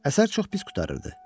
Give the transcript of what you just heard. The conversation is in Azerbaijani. Əsər çox pis qurtarırdı.